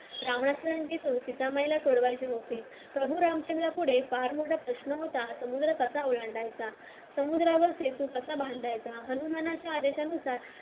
सीता मायला सोडवायचे होते प्रभू रामचंद्र पुढे फार मोठा प्रश्न होता समुद्र कसा ओलांडायचा समुद्रावर कसा बांधायचा हनुमानाच्या आदेशानुसार